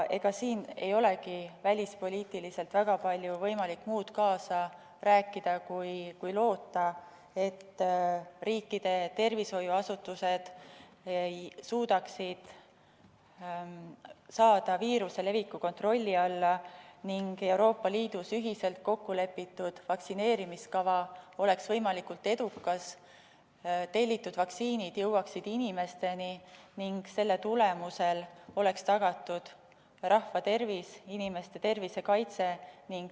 Ega siin ei olegi välispoliitiliselt võimalik väga palju rohkem kaasa rääkida kui loota, et riikide tervishoiuasutused suudaksid saada viiruse leviku kontrolli alla ning Euroopa Liidus ühiselt kokkulepitud vaktsineerimiskava oleks võimalikult edukas, tellitud vaktsiinid jõuaksid inimesteni ning selle tulemusel oleks tagatud rahva tervis ja inimeste tervise kaitse.